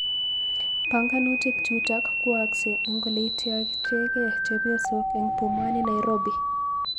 Panganutik chutok kwookse eng oleityochegei chepyosok eng Pumwani Nairobi